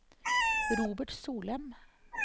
Robert Solem